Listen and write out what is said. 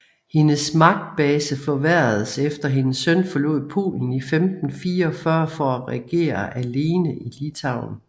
Hendes magtbase forværredes efter hendes søn forlod Polen i 1544 for at regere alene i Litauen